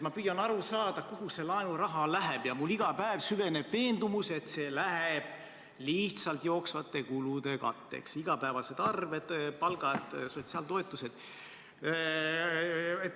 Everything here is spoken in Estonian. Ma püüan aru saada, kuhu see laenuraha läheb, ja minus iga päev süveneb veendumus, et see läheb lihtsalt jooksvate kulude katteks: igapäevased arved, palgad, sotsiaaltoetused.